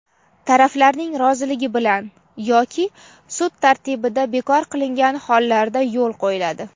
taraflarning roziligi bilan yoki sud tartibida) bekor qilingan hollarda yo‘l qo‘yiladi.